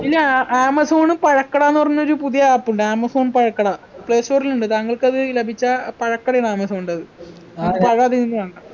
ഇല്ല ആഹ് ആമസോണും പഴക്കടാന്ന് പറഞ്ഞൊരു പുതിയ app ഉണ്ട് ആമസോൺ പഴക്കട play store ൽ ഉണ്ട് താങ്കൾക്കത് ലഭിച്ച പഴക്കടയാ ആമസോണിൻ്റെത് പഴം അതിൽ നിന്ന് വാങ്ങാ